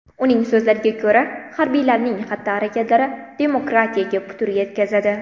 Uning so‘zlariga ko‘ra, harbiylarning xatti-harakatlari demokratiyaga putur yetkazadi.